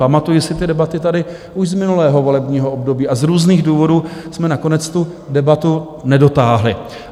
Pamatuji si ty debaty tady už z minulého volebního období, a z různých důvodů jsme nakonec tu debatu nedotáhli.